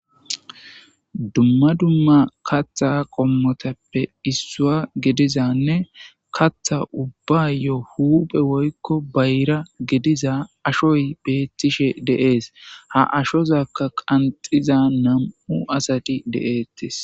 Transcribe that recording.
Dumma dumma katha qommotappe issua gedizanne katha ubbayo huphe woykko bayra gediza ashoy beettishe deees ha ashozakka qanxiza nam7u asati de7eettis